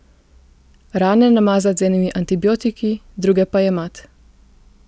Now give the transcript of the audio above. Rane namazat z enimi antibiotiki, druge pa jemat.